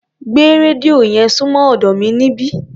Gbé rédíò yẹn súnmọ́ ọ̀dọ́ mi níbí.